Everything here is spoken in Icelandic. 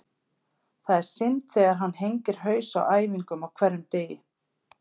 Það er synd þegar hann hengir haus á æfingum á hverjum degi.